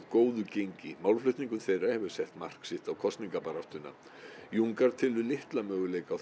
góðu gengi málflutningur þeirra hefur sett mark sitt á kosningabaráttuna telur litlar möguleika á